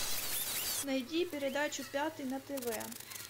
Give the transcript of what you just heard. найди передачу пятый на тв